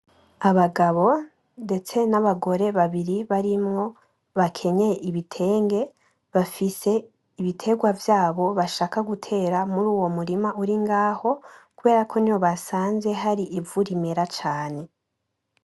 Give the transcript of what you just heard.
Abagabo ndetse n'abagore babiri barimwo bakenyeye ibitenge bafise ibitegwa vyabo bashaka gutera muruwo murima uringaho kuberako niho basanze hari ivu rimera cane .